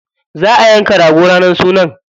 Za a yanka rago ranar sunan.